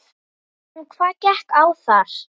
En hvað gekk á þar?